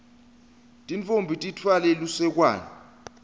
tintfombi titfwale lusekwane